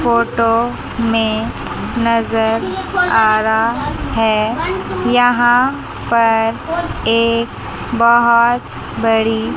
photo में नजर आ रहा है यहां पर एक बहुत बड़ी--